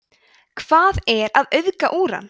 hvað er að auðga úran